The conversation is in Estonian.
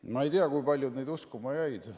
Ma ei tea, kui paljud neid uskuma jäid.